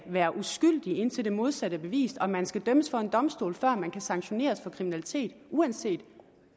er uskyldig indtil det modsatte er bevist og at man skal dømmes for en domstol før man kan sanktioneres for kriminalitet uanset